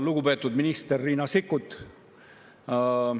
Lugupeetud minister Riina Sikkut!